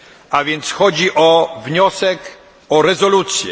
A więc chodzi o wniosek o rezolucję.